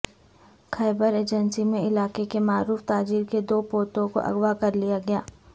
خیبر agency میں علاقے کے معروف تاجر کے دو پوتوں کو اغواء کرلیا گیا